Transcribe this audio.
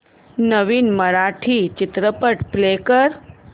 नवीन मराठी चित्रपट प्ले कर